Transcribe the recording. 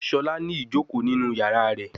Shola ni ijoko ninu yara rẹ